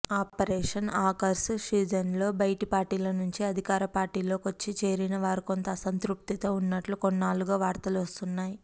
operation Akarsh సీజన్లో బైటిపార్టీలనుంచి అధికారపార్టీలోకొచ్చి చేరిన వారు కొంత అసంతృప్తితో వున్నట్లు కొన్నాళ్లుగా వార్తలొస్తున్నాయి